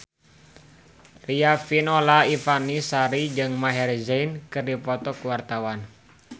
Riafinola Ifani Sari jeung Maher Zein keur dipoto ku wartawan